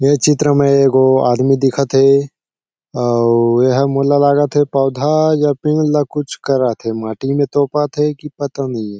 ये चित्र में एक गो आदमी दिखत हे अउ एहा मोला लागत हे पौधा या पेड़ कुछ करत हे माटी म तोपत हे की पता नइ।